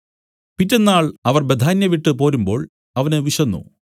പിറ്റെന്നാൾ അവർ ബേഥാന്യ വിട്ടു പോരുമ്പോൾ അവന് വിശന്നു